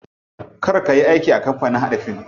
Kar kayi aiki a kamapanin haɗa fim.